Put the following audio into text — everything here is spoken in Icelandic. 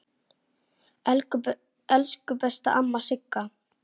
Elsku besta amma Sigga.